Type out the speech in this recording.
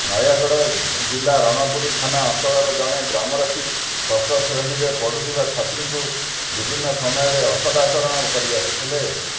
ନୟାଗଡ ଜିଲ୍ଲା ରଣପୁର ଥାନା ଅଞ୍ଚଳର ଜଣେ ଗ୍ରାମରକ୍ଷୀ ଷଷ୍ଠ ଶ୍ରେଣୀରେ ପଢୁଥିବା ଛାତ୍ରୀଙ୍କୁ ବିଭିନ୍ନ ସମୟରେ ଅସଦାଚରଣ କରିଆସୁଥିଲେ